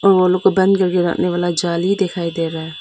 और वो लोग को बंद करके रखने वाला जाली दिखाई दे रहा है।